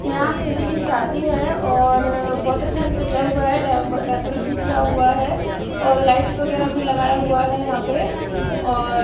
यहां किसी की शादी है और बहोत अच्छे से सजा हुआ है ड डेकोरेशन किया हुआ है और लाइट्स वगैरा भी लगाया हुआ है यहां पे और --